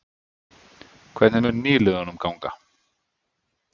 Hvernig mun nýliðunum ganga?